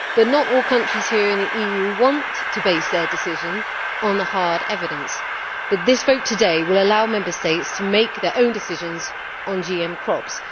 Not all the countries here in the EU want to base their decisions on the hard evidence, but this vote today will allow Member States to make their own decisions on GM crops.